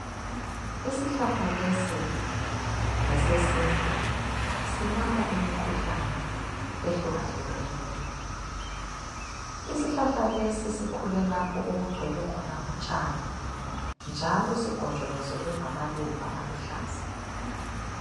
Isihlahla lesi ngesesintu, silapha imikhuhlane ehlukahlukeneyo. Isihlahla lesi sikhulelapho okugcwele khona utshani njalo sigonjolozelwe ngamaluba aluhlaza.